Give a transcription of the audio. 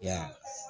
Ya